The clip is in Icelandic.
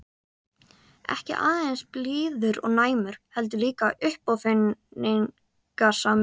Ekki aðeins blíður og næmur- heldur líka uppáfinningasamur.